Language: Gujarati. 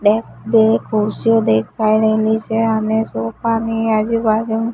બે બી ખુરશીઓ દેખાઈ રહેલી છે અને સોફા ની આજુબાજુ--